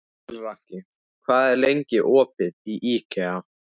Melrakki, hvað er lengi opið í IKEA?